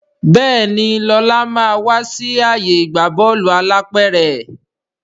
Béèni Lọla má wá sí ààyè ìgbà Bọ́ọ̀lù alápẹ̀rẹ̀.